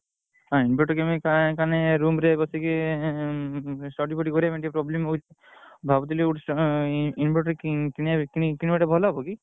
Room ରେ ବସିକି study କରିବା ପାଇଁ ଟିକେ problem ହଉଛି। ଭାବୁଥିଲି inverter କିଣିବା ପାଇଁ କିଣିବାଟା ଭଲ ହବ କି?